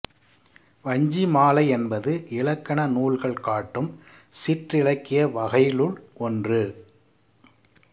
வஞ்சி மாலை என்பது இலக்கண நூல்கள் காட்டும் சிற்றிலக்கிய வகைளுள் ஒன்று